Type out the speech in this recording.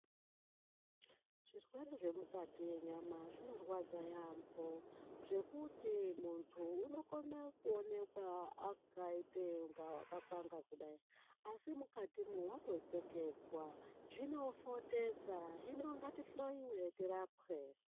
Zvirwere zvemukati yenyama zvinorwadza yaampho, zvekuti muntu unokone kuonekwa akaite unga wakakwanga kudai, asi mukatimwo watotseketswa. Zvinofotesa, hino ngatihloiwe tirapwe.